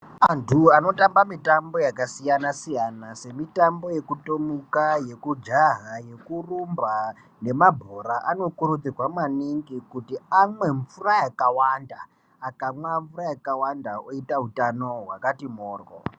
Antu anotamba mitambo yakasiyana siyana semitambo yekutomuka, yeku jaha, yekurumba, nemabhora anokurudzirwa maningi kuti amwe mvura yakawanda akamwa mvura yakawanda oyita utano hwakati mhorwo.